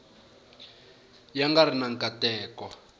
ya nga ri na nkateko